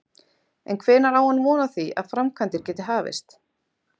En hvenær á hann von á því að framkvæmdir geti hafist?